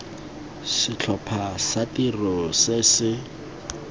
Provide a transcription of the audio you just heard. setlhopha sa tiro se se